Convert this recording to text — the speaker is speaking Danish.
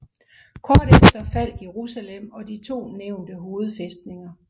Kort efter faldt Jerusalem og de to nævnte hovedfæstninger